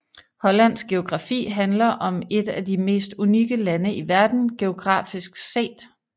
Hollands geografi handler om et af de mest unikke lande i verden geografisk set